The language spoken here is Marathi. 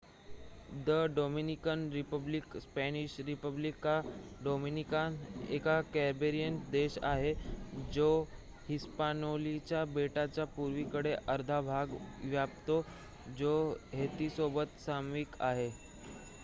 द डोमिनिकन रिपब्लिक स्पॅनिशः रिपब्लिका डोमिनीकाना एक कॅरिबियन देश आहे जो हिस्पानिओलाच्या बेटाचा पूर्वेकडील अर्धा भाग व्यापतो जो हैतीसोबत सामायिक आहे